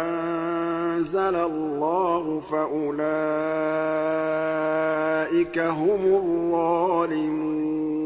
أَنزَلَ اللَّهُ فَأُولَٰئِكَ هُمُ الظَّالِمُونَ